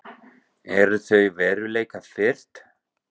Eru þau veruleikafirrt?